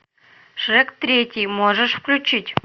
шрек третий можешь включить